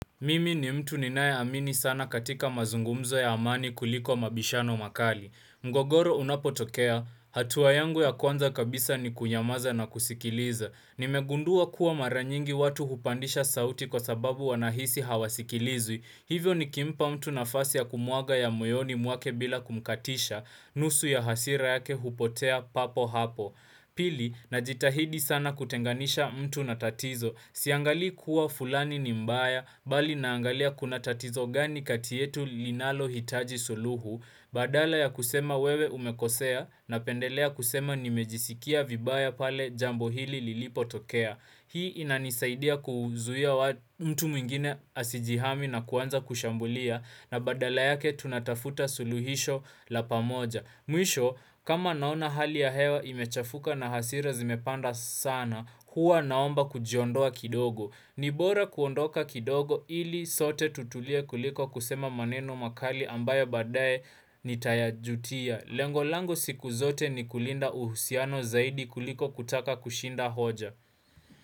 Mimi ni mtu ninayeamini sana katika mazungumzo ya amani kuliko mabishano makali. Mgogoro unapotokea, hatuwa yangu ya kwanza kabisa ni kunyamaza na kusikiliza. Nimegundua kuwa mara nyingi watu hupandisha sauti kwa sababu wanahisi hawasikilizwi. Hivyo nikimpa mtu nafasi ya kumwaga ya moyoni mwake bila kumkatisha, nusu ya hasira yake hupotea papo hapo. Pili, najitahidi sana kutenganisha mtu na tatizo. Siangalii kuwa fulani ni mbaya, bali naangalia kuna tatizo gani kati yetu linalohitaji suluhu, badala ya kusema wewe umekosea, napendelea kusema nimejisikia vibaya pale jambo hili lilipotokea. Hii inanisaidia kuzuia mtu mwingine asijihami na kuanza kushambulia na badala yake tunatafuta suluhisho la pamoja. Mwisho, kama naona hali ya hewa imechafuka na hasira zimepanda sana, huwa naomba kujiondoa kidogo. Ni bora kuondoka kidogo ili sote tutulie kuliko kusema maneno makali ambayo baadaye nitayajutia. Lengo langu siku zote ni kulinda uhusiano zaidi kuliko kutaka kushinda hoja.